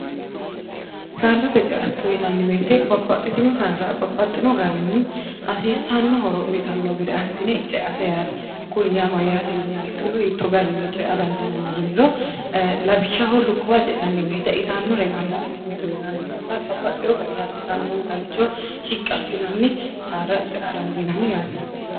saadate ceatto yinanniweete babbaxxitino saara babbaxxino garinni hasiisanno horo uyitanno gede assine ceate yaate kun yaa ma yaate yiniha ikkiro yitto garinni cea dandiinanni yiniro labishaho lukkuwa ce'nannibeete itanno re gamba assine uyinanninsa babbaxxiho gari hasiisannonsaa'richo shiqqi assinanni saara ce'a dandiinanni yaate